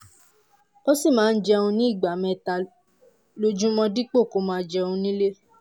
ó sì máa ń jẹun ní ìgbà mẹ́ta lójúmọ́ dípò kó máa jẹun nílé